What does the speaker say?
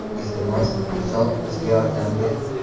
Iltimos, Iso, bizga yordam ber”.